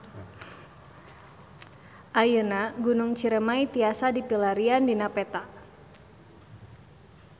Ayeuna Gunung Ciremay tiasa dipilarian dina peta